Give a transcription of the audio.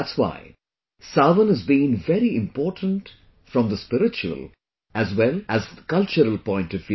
That's why, 'Sawan' has been very important from the spiritual as well as cultural point of view